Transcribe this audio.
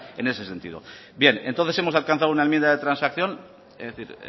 en ese sentido bien entonces hemos alcanzado una enmienda de transacción es decir